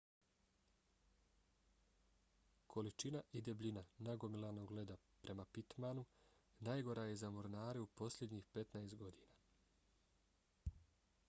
količina i debljina nagomilanog leda prema pittmanu najgora je za mornare u posljednjih 15 godina